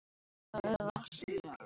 Sólin í nálægð.